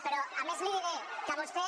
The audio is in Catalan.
però a més li diré que vostè